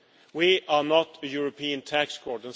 We are not a European tax court.